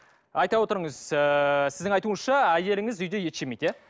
айта отырыңыз ыыы сіздің айтуыңызша әйеліңіз үйде ет жемейді иә